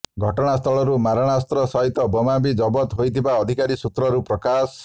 ଘଟଣାସ୍ଥଳରୁ ମାରଣାସ୍ତ୍ର ସହିତ ବୋମା ବି ଜବତ ହୋଇଥିବା ଅଧିକାରୀ ସୂତ୍ରରୁ ପ୍ରକାଶ